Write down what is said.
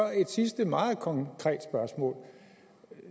jeg et sidste meget konkret spørgsmål